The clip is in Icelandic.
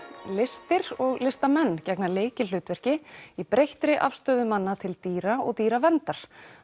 listir og listamenn gegna lykilhlutverki í breyttri afstöðu manna til dýra og dýraverndar